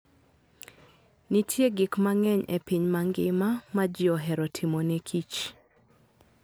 Nitie gik mang'eny e piny mangima ma ji ohero timo ne kich.